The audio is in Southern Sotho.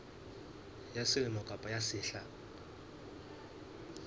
ya selemo kapa ya sehla